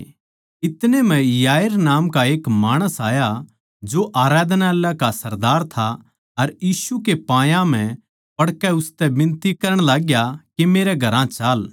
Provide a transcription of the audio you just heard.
इतनै म्ह याईर नाम का एक माणस आया जो आराधनालय का सरदार था अर यीशु कै पायां म्ह पड़कै उसतै बिनती करण लागग्या के मेरै घरां चाल